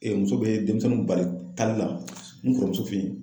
muso bɛ demisɛnninw bali taali la n kɔrɔmuso fe yen